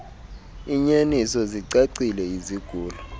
iinyaniso zicacile izigulo